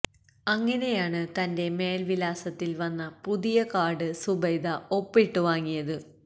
അങ്ങിനെയാണ് തന്റെ മേല്വിലാസത്തില് വന്ന പുതിയ കാര്ഡ് സുബൈദ ഒപ്പിട്ട് വാങ്ങിയത്